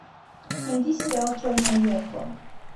найди сериал черное зеркало